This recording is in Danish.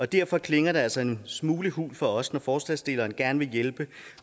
derfor klinger det altså en smule hult for os når forslagsstillerne gerne vil hjælpe